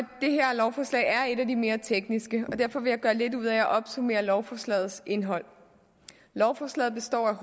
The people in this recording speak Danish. lovforslag er et af de mere tekniske og derfor vil jeg gøre lidt ud at opsummere lovforslagets indhold lovforslaget består af